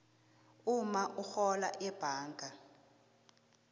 umma urhola ebhanga